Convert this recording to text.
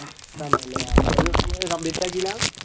തന്നെയല്ലേ complete ആക്കീല?